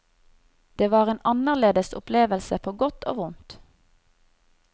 Det var en annerledes opplevelse på godt og vondt.